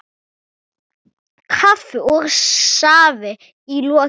Kaffi og safi í lokin.